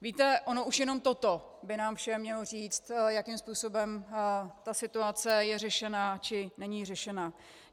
Víte, ono už jenom toto by nám všem mělo říct, jakým způsobem ta situace je řešena, či není řešena.